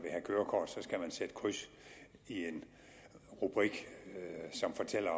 sætte kryds i en rubrik som fortæller